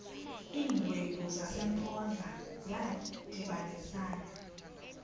iingwevu zasempoza zadibanisana